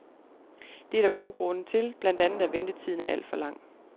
Det er der gode grunde til, blandt andet at ventetiden er alt for lang.